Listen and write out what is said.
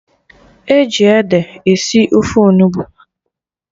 E ji ede esi ofe Onugbu